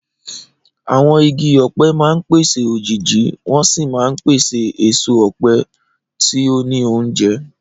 Àwọn igi ọ̀pẹ máa ń pèsè òjìji wọ́n sì máa ń pèsè èso ọ̀pẹ tí ó ní oúnjẹ.